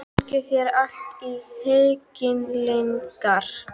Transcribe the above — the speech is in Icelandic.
Gangi þér allt í haginn, Lyngar.